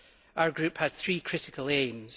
Our group had three critical aims.